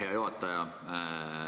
Hea juhataja!